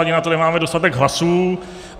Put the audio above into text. Ani na to nemáme dostatek hlasů.